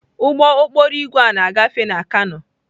Ụgbọ okporo ígwè a ga-agafe na kano.